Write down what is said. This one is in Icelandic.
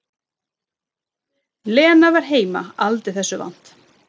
Lena var heima aldrei þessu vant.